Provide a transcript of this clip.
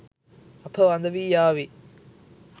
අප වඳවී යාවි